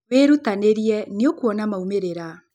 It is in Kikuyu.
Wĩrutanĩria nĩũkũona maũmĩrĩra